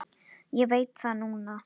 Ég veit það núna.